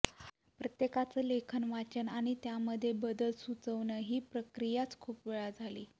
प्रत्येकाचं लेखन वाचणं आणि त्यामध्ये बदल सुचवणं ही प्रक्रियाच खूप वेळा झाली